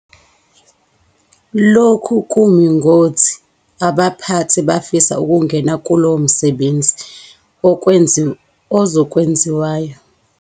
Lokhu kumi ngothi abaphathi bafisa ukungena kulowo msebenzi ozokwenziwayo ngawo onke amandla noma bafisa ukuba eceleni baluleke kuphela ekuphathweni komsebenzi.